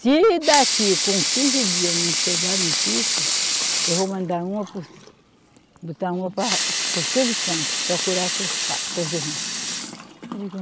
Se daqui com quinze dias não chegar notícia, eu vou mandar uma para o Si, botar uma pa, para o Silvio Santos, procurar seus pa, seus irmão.